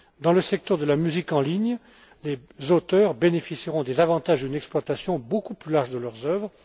Dans le secteur de la musique en ligne, les auteurs bénéficieront des avantages d'une exploitation beaucoup plus large de leurs œuvres.